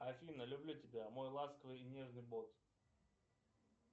афина люблю тебя мой ласковый и нежный бот